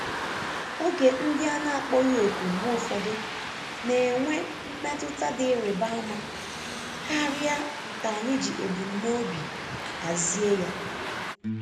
Oge ndị a na-akpọghị òkù mgbe ụfọdụ na-enwe mmetụta dị ịrịba ama karịa nke anyị ji ebumnobi hazie ya.